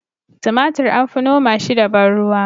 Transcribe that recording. Tumatir an fi noma shi da ban ruwa